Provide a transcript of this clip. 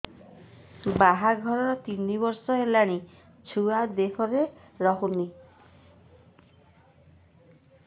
ବାହାଘର ତିନି ବର୍ଷ ହେଲାଣି ଛୁଆ ଦେହରେ ରହୁନି